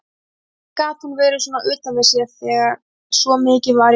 Hvernig gat hún verið svona utan við sig þegar svo mikið var í húfi?